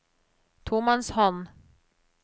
tomannshånd